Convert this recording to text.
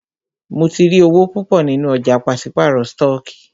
Mó tí rí owó púpọ nínú ọ̀jà pàṣípàrọ̀ stọọkí.